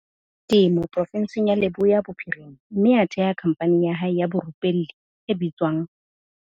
Temo porofenseng ya Leboya Bophirima mme a theha khamphani ya hae ya borupelli e bitswang